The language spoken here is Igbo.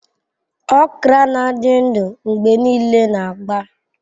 Okra na-adị ndụ ndụ mgbe niile na agba.